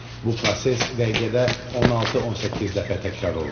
Bu proses dəqiqədə 16-18 dəfə təkrar olunur.